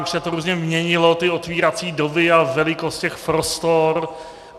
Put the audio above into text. Už se to různě měnilo ty otvírací doby a velikost těch prostor.